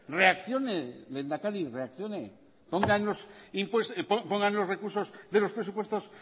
reaccione lehendakari reaccione pongan los recursos de los presupuestos